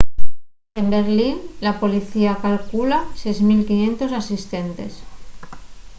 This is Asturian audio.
en berlín la policía calcula 6.500 asistentes